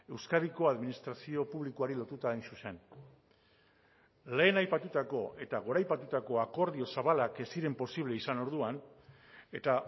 euskadiko administrazio publikoari lotuta hain zuzen lehen aipatutako eta goraipatutako akordio zabalak ez ziren posible izan orduan eta